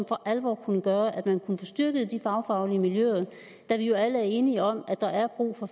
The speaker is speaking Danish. for alvor kunne gøre at man kunne få styrket de fagfaglige miljøer da vi jo alle er enige om at der er brug for